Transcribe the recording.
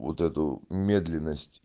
вот эту медленность